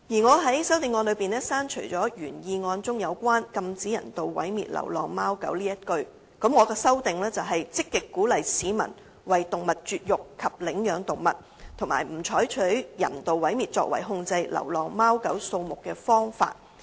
我在修正案中建議刪除原議案中"禁止人道毀滅流浪貓狗"的字眼，並以"積極鼓勵市民為動物絕育及領養動物，不採用人道毀滅作為控制流浪貓狗數目的方法"取代。